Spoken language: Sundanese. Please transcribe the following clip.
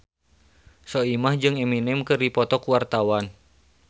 Soimah jeung Eminem keur dipoto ku wartawan